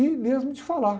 E mesmo de falar.